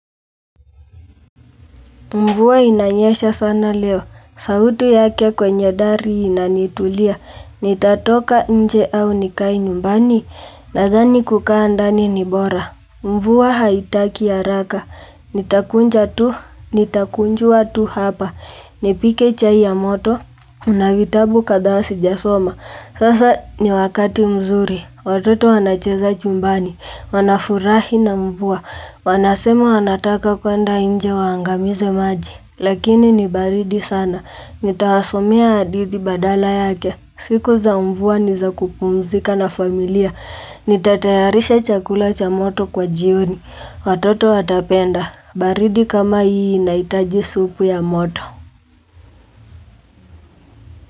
Mvua inanyesha sana leo, sauti yake kwenye dari inanitulia, nitatoka nje au nikae nyumbani, nadhani kukaa ndani ni bora. Mvua haitaki haraka, nitakunja tu, nitakunjua tu hapa, nipike chai ya moto, na vitabu kadhaa sijasoma. Sasa ni wakati mzuri, watoto wanacheza chumbani, wanafurahi na mvua, wanasema wanataka kuenda nje waangamize maji. Lakini ni baridi sana, nitawasomea hadithi badala yake, siku za mvua ni za kupumzika na familia, nitatayarisha chakula cha moto kwa jioni. Watoto watapenda, baridi kama hii inaitaji supu ya moto.